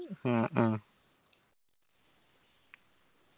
ആ ആ